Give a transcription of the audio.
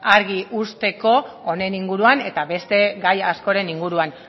argi usteko honen inguruan eta beste gai askoren inguruan